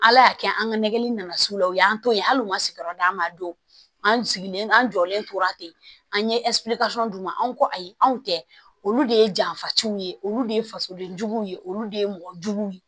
Ala y'a kɛ an ka nɛgɛli nana s'u la u y'an to yen hali u ma sigiyɔrɔ d'an ma don an sigilen n'an jɔlen tora ten an ye d'u ma anw ko ayi anw tɛ olu de ye janfatigiw ye olu de ye fasoden juguw ye olu de ye mɔgɔ jugu ye